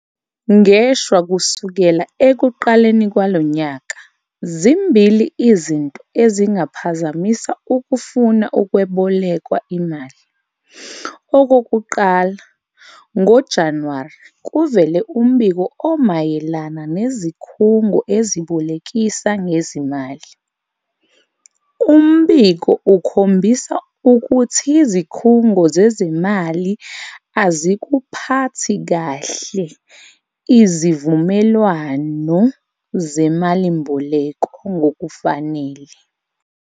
Ngeshwa kusukela ekuqaleni kwalo nyaka, zimbili izinto ezingaphazamisa ukufuna ukwebolekwa imali. Okokuqala, ngoJanuwari kuvele umbiko omayelana nezikhungo ezibolekisa ngezimali. Umbiko ukhombisa ukuthi izikhungo zezimali azikuphathi kahle izivumelwano zemalimboleko ngokufanele.